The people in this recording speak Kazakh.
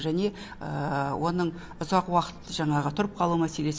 және оның ұзақ уақыт жаңағы тұрып қалу мәселесі